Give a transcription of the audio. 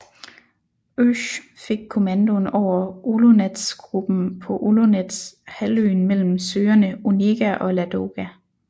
Oesch fik kommandoen over Olonets Gruppen på Olonets halvøen mellem søerne Onega og Ladoga